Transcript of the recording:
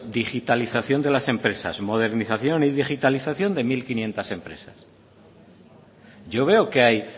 digitalización de las empresas modernización y digitalización de uno coma quinientos empresas yo veo que hay